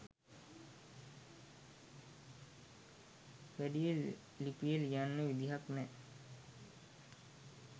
වැඩිය ලිපිය ලියන්න විදිහක් නැ